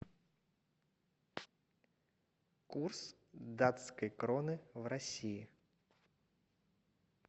курс датской кроны в россии